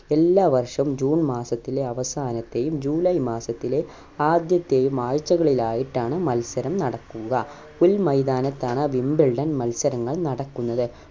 എല്ലാ വർഷവും ജൂൺ മാസത്തിലെ അവസാനത്തെയും ജൂലൈ മാസത്തിലെ ആദ്യത്തെയും ആഴ്ചകളിൽ ആയിട്ടാണ് മത്സരം നടക്കുക പുൽ മൈതാനത്താണ് wimbledon മത്സരങ്ങൾ നടക്കുന്നത്